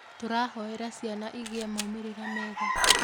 Tũrahoera ciana igĩe maumĩrĩra mega